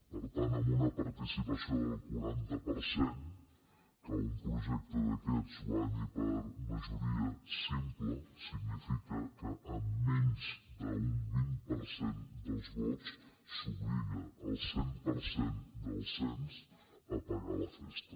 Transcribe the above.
per tant amb una participació del quaranta per cent que un projecte d’aquests guanyi per majoria simple significa que amb menys d’un vint per cent dels vots s’obliga al cent per cent del cens a pagar la festa